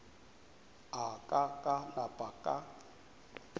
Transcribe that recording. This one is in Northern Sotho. a ka ka napa ka